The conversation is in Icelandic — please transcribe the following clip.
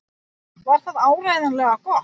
Var það áreiðanlega gott?